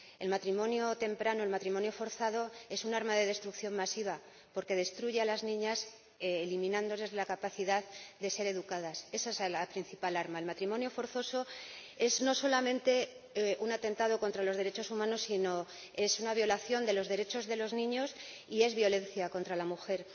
El matrimonio temprano, el matrimonio forzado es un arma de destrucción masiva porque destruye a las niñas, eliminándoles la capacidad de ser educadas esa es la principal arma. El matrimonio forzoso no solamente es un atentado contra los derechos humanos, sino que es una violación de los derechos de los niños y es violencia contra la mujer.